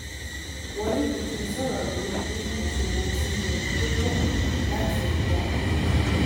wárrì pikin sọ̀rọ̀ lórí bí kò ṣe retí ohun tó pọ̀ láti ọ̀dọ̀ àwọn ènìyàn